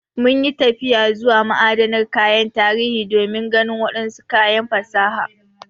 Mun yi tafiya zuwa ma'adanar kayan tarihi don ganin wadansu kayan fasaha.